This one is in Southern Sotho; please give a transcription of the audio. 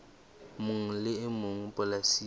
mong le e mong polasing